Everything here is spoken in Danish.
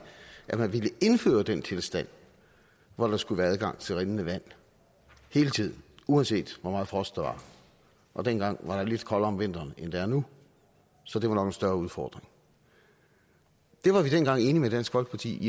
at man ville indføre den tilstand hvor der skulle være adgang til rindende vand hele tiden uanset hvor meget frost der var og dengang var der lidt koldere om vinteren end der er nu så det var større udfordring det var vi dengang enige med dansk folkeparti